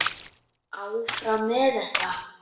Áfram með þetta.